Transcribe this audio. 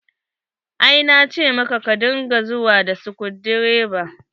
Ai na ce maka ka dinga zuwa da skudireva.